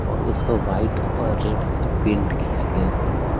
और उसको वाइट और रेड से पेंट किया गया है।